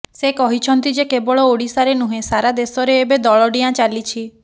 ସେ କହିଛନ୍ତି ଯେ କେବଳ ଓଡିଶାରେ ନୁହେଁ ସାରା ଦେଶରେ ଏବେ ଦଳଡିଆଁ ଚାଲିଛି